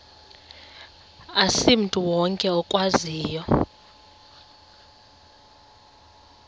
asimntu wonke okwaziyo